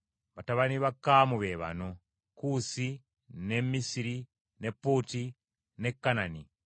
Batabani ba Kaamu be bano: Kuusi, ne Misiri, ne Puuti, ne Kanani.